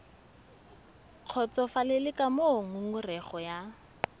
kgotsofalele ka moo ngongorego ya